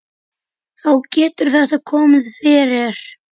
Þá getur þetta komið fyrir.